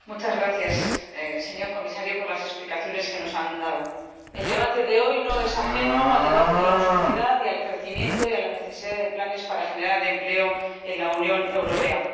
Señora Presidenta, muchas gracias, señor Comisario, por las explicaciones que nos ha dado. El debate de hoy no es ajeno al debate de la austeridad y del crecimiento y de la necesidad de planes para generar empleo en la Unión Europea.